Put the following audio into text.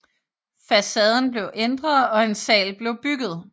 Facaden blev ændret og en sal blev bygget